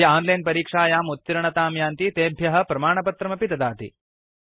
ये ओनलाइन् परीक्षायाम् उत्तीर्णतां यान्ति तेभ्य प्रमाणपत्रमपि ददाति